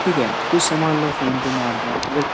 ठीक है। कुछ सामान लो फोन पे मार दो। अगर क --